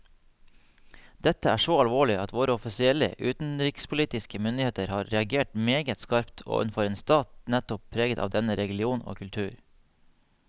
Dette er så alvorlig at våre offisielle utenrikspolitiske myndigheter har reagert meget skarpt overfor en stat nettopp preget av denne religion og kultur.